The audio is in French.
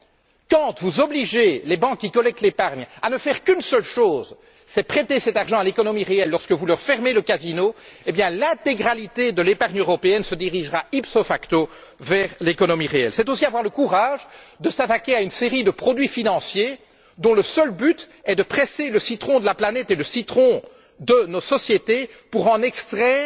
Lorsque vous obligerez les banques qui collectent l'épargne à ne faire qu'une seule chose, à savoir prêter l'argent à l'économie réelle, et que vous leur fermerez le casino, l'intégralité de l'épargne européenne se dirigera ipso facto vers l'économie réelle. Ensuite, il faut avoir le courage de s'attaquer à une série de produits financiers, dont le seul but est de presser le citron de la planète et le citron de nos sociétés pour en extraire